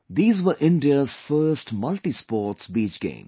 These were India's first multisports beach games